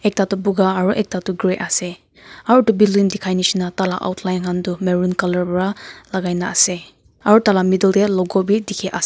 ekta toh boga aru ekta toh grey esa aru etu building dikhai nisna tala outline han tu maroon colour pora lagaina ase aru tala middle te logo bi dikhi--